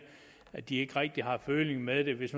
at de ikke rigtig har føling med det hvis